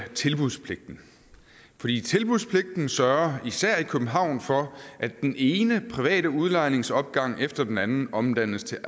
for tilbudspligten sørger især i københavn for at den ene private udlejningsopgang efter den anden omdannes til